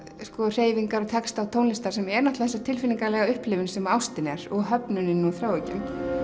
hreyfingar texta og tónlistar sem er þessi tilfinningalega upplifun sem ástin er og höfnunin og þráhyggjan